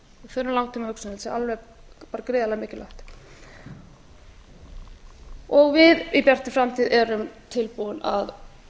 þurfum langtímahugsun ég held að það sé alveg bara gríðarlega mikilvægt við í bjartri framtíð erum tilbúin að